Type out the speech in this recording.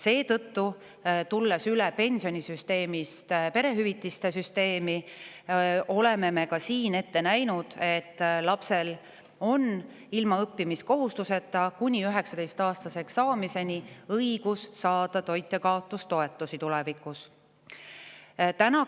Seetõttu, tulles üle pensionisüsteemist perehüvitiste süsteemi, oleme me ka siin ette näinud, et tulevikus on lapsel ilma õppimiskohustuseta õigus saada toitjakaotustoetust kuni 19‑aastaseks saamiseni.